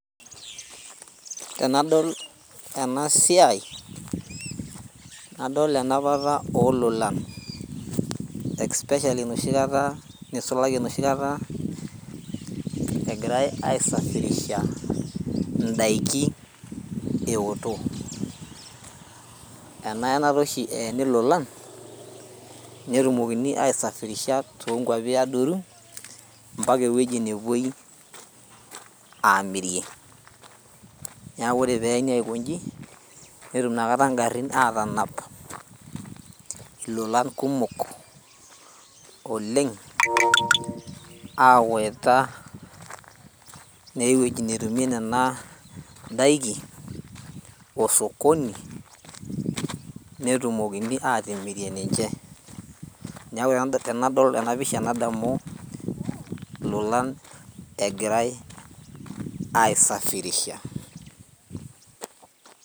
Enadol ena siai nadol enapata ololan especially enoshi kata nisulaki enoshi kata egirae aesafirisha indaiki ewoto ena yenata oshi eyeni ilolan netumokini aesafirisha tonkuapi adoru mpaka ewueji nepuoi amirie niaku ore peyeni aikonji netum inakata ingarrin atanap ilolan kumok oleng awaita naa ewueji netumie nena daiki osokoni netumokini atimirie ninche niaku tenadol na pisha nadamu ilolan egirae aisafirisha.